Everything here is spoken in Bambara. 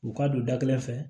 U ka don da kelen fɛ